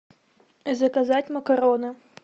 заказать макароны